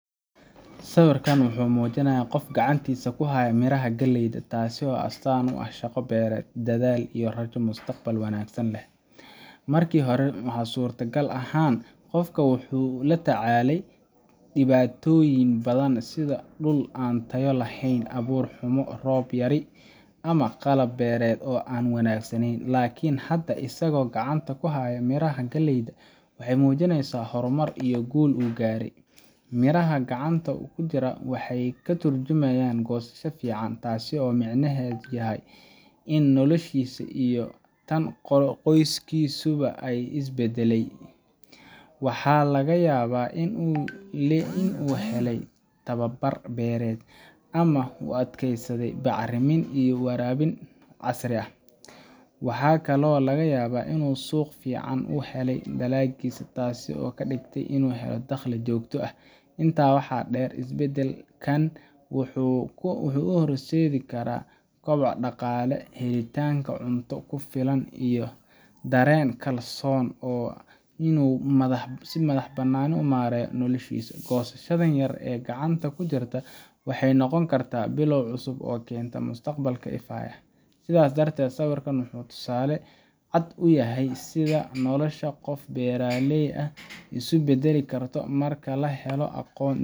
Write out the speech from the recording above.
Sawirkan wuxuu muujinayaa qof gacantiisa ku haya miraha galleyda, taasoo astaan u ah shaqo beereed, dadaal iyo rajo mustaqbal wanaagsan leh. Markii hore, waxa suurtagal ahaan, qofkani wuxuu la tacaalayay dhibaatooyin badan sida dhul aan tayo lahayn, abuur xumo, roob yari, ama qalab beereed oo aan wanaagsanayn. Laakiin hadda, isagoo gacanta ku haya miraha galleyda, waxay muujinaysaa horumar iyo guul uu gaaray. Miraha gacanta ku jira waxay ka tarjumayaan goosasho fiican – taasoo micnaheedu yahay in noloshiisa iyo tan qoyskiisuba ay isbeddeshay. Waxaa laga yaabaa in uu helay tababar beereed, ama uu adeegsaday bacrimin iyo waraabin casri ah. Waxaa kaloo laga yaabaa in uu suuq fiican u helay dalaggiisa, taasoo ka dhigtay inuu helo dakhli joogto ah. Intaa waxaa dheer, isbeddelkan wuxuu u horseedi karaa koboc dhaqaale, helitaanka cunto ku filan, iyo dareen kalsooni oo ah inuu si madax-bannaan u maareeyo noloshiisa. Goosashadaas yar ee gacanta ku jirta waxay noqon kartaa bilow cusub oo keenta mustaqbal ifaya. Sidaas darteed, sawirkan wuxuu tusaale cad u yahay sida nolosha qof beeraley ah isu beddeli karto marka la helo aqoon,